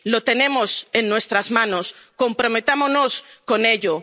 Lo tenemos en nuestras manos, comprometámonos con ello.